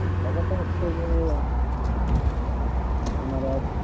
ব্যাপার তা হচ্ছে যে ওনারা